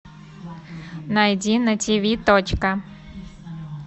найди на тиви точка